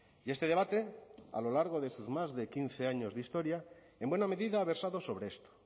y este debate a lo largo de sus más de quince años de historia en buena medida ha versado sobre esto